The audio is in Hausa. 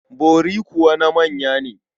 Bori kuwa na manya ne.